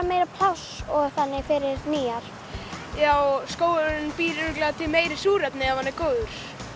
meira pláss og þannig fyrir nýjar já skógurinn býr örugglega til meira súrefni ef hann er góður